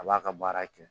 A b'a ka baara kɛ